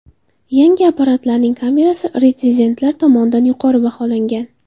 Yangi apparatlarning kamerasi retsenzentlar tomonidan yuqori baholangan.